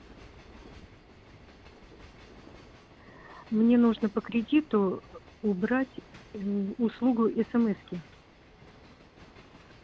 мне нужно по кредиту убрать услугу смс-ки